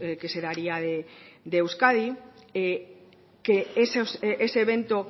que se daría de euskadi que ese evento